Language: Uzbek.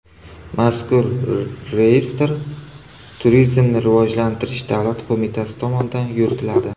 Mazkur reyestr Turizmni rivojlantirish davlat qo‘mitasi tomonidan yuritiladi.